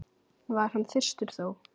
var hann þyrstur þó.